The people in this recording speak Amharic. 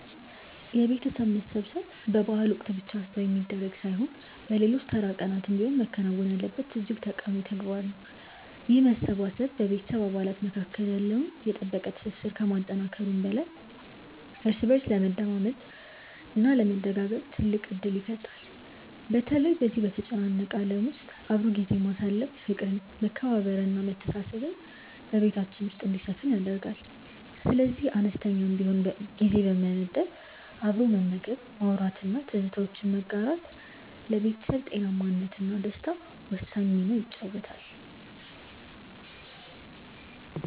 የቤተሰብ መሰብሰብ በበዓላት ወቅት ብቻ የሚደረግ ሳይሆን በሌሎች ተራ ቀናትም ቢሆን መከናወን ያለበት እጅግ ጠቃሚ ተግባር ነው። ይህ መሰባሰብ በቤተሰብ አባላት መካከል ያለውን የጠበቀ ትስስር ከማጠናከሩም በላይ እርስ በእርስ ለመደማመጥ እና ለመደጋገፍ ትልቅ ዕድል ይፈጥራል። በተለይ በዚህ በተጨናነቀ ዓለም ውስጥ አብሮ ጊዜ ማሳለፍ ፍቅርን መከባበርን እና መተሳሰብን በቤታችን ውስጥ እንዲሰፍን ያደርጋል። ስለዚህ አነስተኛም ቢሆን ጊዜ በመመደብ አብሮ መመገብ ማውራት እና ትዝታዎችን ማጋራት ለቤተሰብ ጤናማነት እና ደስታ ወሳኝ ሚና ይጫወታል